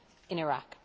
in Iraq.